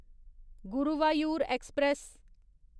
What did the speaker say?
Guruvayur express